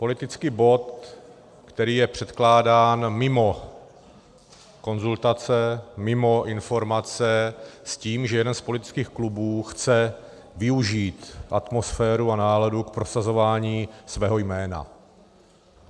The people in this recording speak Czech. Politický bod, který je předkládán mimo konzultace, mimo informace, s tím, že jeden z politických klubů chce využít atmosféru a náladu k prosazování svého jména.